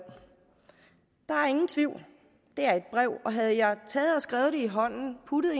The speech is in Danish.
der er ingen tvivl det er et brev og havde jeg skrevet det i hånden puttet